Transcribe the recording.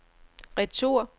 retur